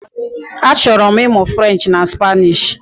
Achọrọ m ịmụ French na Spanish